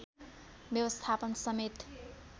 व्यवस्थापन समेत